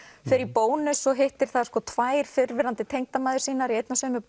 fer í Bónus og hittir þar tvær fyrrverandi tengdamæður sínar í einni og sömu